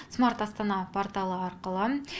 смарт астана порталы арқылы